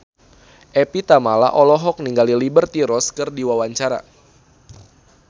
Evie Tamala olohok ningali Liberty Ross keur diwawancara